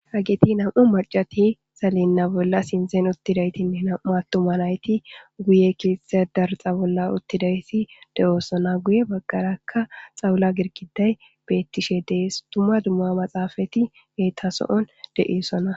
hageti nam'u macati salena bolla sinithen uttidaytinne nam'u attuma nayti guye keththee darixa bolla uttidaysi de'oosona guye baggarakka xawula girigiday beettishe dees dumma dumma maxaafati beetaso'on de'osona